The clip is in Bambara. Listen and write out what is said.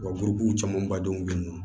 Wa camanbadenw be yen nɔ